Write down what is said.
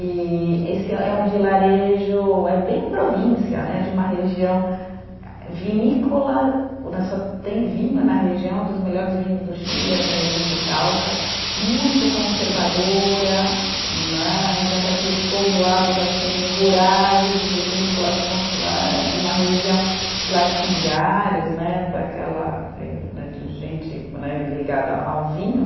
E esse é um vilarejo, é bem província né, de uma região vinícola, só tem vinho na região, um dos melhores vinhos do Chile, essa região de Itaúca, muito conservadora né, então daqueles povoados assim rurais, vinícolas, né de uma região de latifundiários né, de gente né ligada ao vinho.